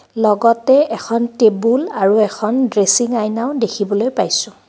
লগতে এখন টেবুল আৰু এখন ড্ৰেছিং আয়নাও দেখিবলৈ পাইছোঁ।